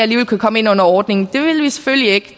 kan komme ind under ordningen det vil vi selvfølgelig ikke